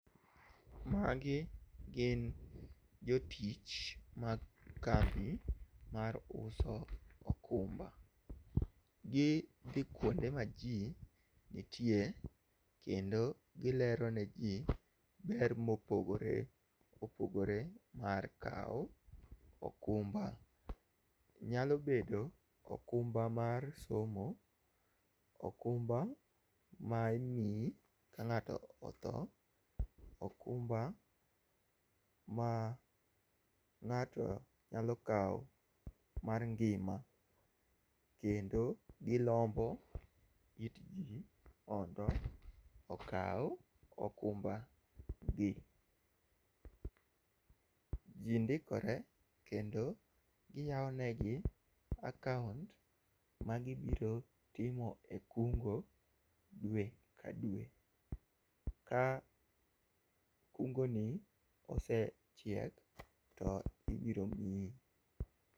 Magi gin jotich mag kambi mar uso okumba, gi dhi kuonde ma ji nitie kendo gilero ne ji ber mopogore opogore mar kawo okumba, nyalo bedo okumba mar somo, okumba ma imiyi ka ng'ato othoo, okumba ma ng'ato nyalo kawo mar ngima kendo gilombo it ji mondo okaw okumba gi, ji ndikore kendo giyawo ne gi akaunt magi biro timo e kungo dwe ka dwe ka kungo ni osechiek to ibiro miyi.